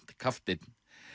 kapteinn